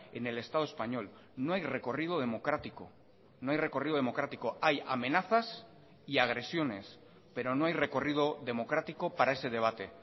en el estado español no hay recorrido democrático no hay recorrido democrático hay amenazas y agresiones pero no hay recorrido democrático para ese debate